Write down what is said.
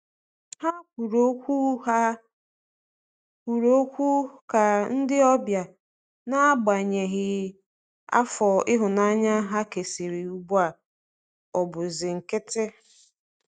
Ha kwụrụ ọkwụ Ha kwụrụ ọkwụ ka ndi ọbia, n'agbanyeghi afọ ihunanya ha kesịrị ugbu a ọbụ si nkitị